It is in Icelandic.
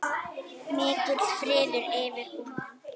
Mikill friður yfir honum.